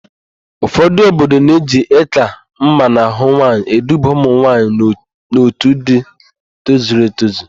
Ụfọdụ obodo na-eji ị́kà mma n'ahụ nwaanyị eduba ụmụnwaanyị n'otu ndị tozuru etozu.